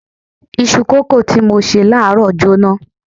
Isu kòókòó tí mo ṣe láàárọ̀ jóná.